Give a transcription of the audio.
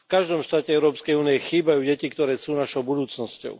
V každom štáte Európskej únie chýbajú deti, ktoré sú našou budúcnosťou.